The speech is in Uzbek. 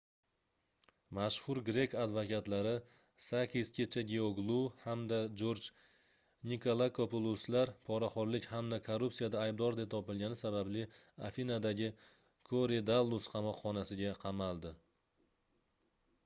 mashhur grek advokatlari sakis kechagioglou hamda jorj nikolakopuloslar poraxoʻrlik hamda korrupsiyada aydbor deb topilgani sababli afinadagi korydallus qamoqxonasiga qamald